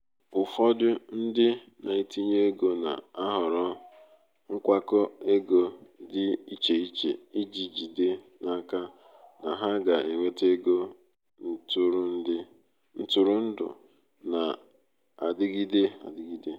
ụfọdụ ndị na-etinye ego na-ahọrọ nkwakọ ego dị iche iche iji jide n'aka na ha ga-enweta ego ntụrụndụ na-adịgide adịgide.